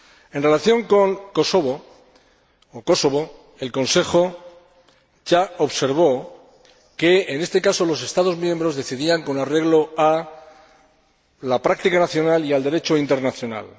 En relación con Kosovo, el Consejo ya observó que, en este caso, los Estados miembros decidían con arreglo a la práctica nacional y al Derecho internacional.